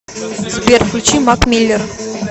сбер включи мак миллер